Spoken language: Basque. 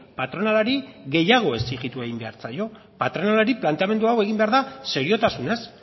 patronalari gehiago exijitu egin behar zaio patronalari planteamendu hau egin behar da seriotasunez